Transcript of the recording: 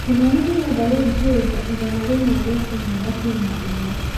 kĩmani ndĩrenda gũthikĩrĩria igana rĩmwe rĩa ĩmwe gaturumo ĩmwe